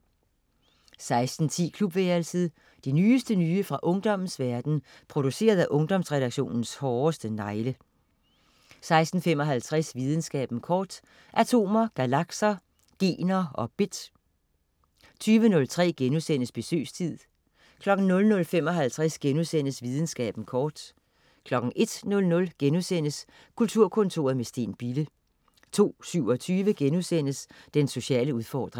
16.10 Klubværelset. Det nyeste nye fra ungdommens verden, produceret af Ungdomsredaktionens hårdeste negle 16.55 Videnskaben kort. Atomer, galakser, gener og bit 20.03 Besøgstid* 00.55 Videnskaben kort* 01.00 Kulturkontoret med Steen Bille* 02.27 Den sociale udfordring*